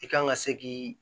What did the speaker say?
I kan ka se k'i